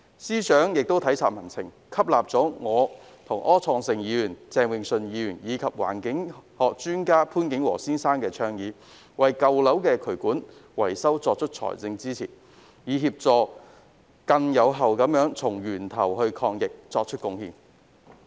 司長亦體察民情，接納了我、柯創盛議員、鄭泳舜議員及環境學專家潘景和先生的倡議，提供財政支持為舊樓進行渠管維修，從而更有效地從源頭抗疫。